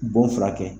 Bon furakɛ